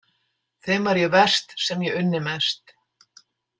Þeim var ég verst sem ég unni mest.